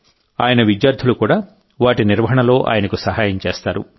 ఆయన విద్యార్థులు కూడా వాటి నిర్వహణలో ఆయనకు సహాయం చేస్తారు